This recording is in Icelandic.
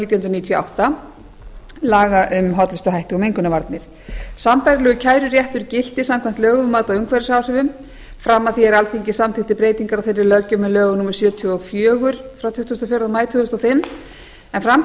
nítján hundruð níutíu og átta laga um hollustuhætti og mengunarvarnir sambærilegur kæruéttur gilti samkvæmt lögum um mat á umhverfisáhrifum fram að því er alþingi samþykkti breytingar á þeirri löggjöf með lögum númer sjötíu og fjórir frá tuttugasta og fjórða maí tvö þúsund og fimm en fram til